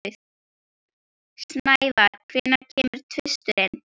Snævar, hvenær kemur tvisturinn?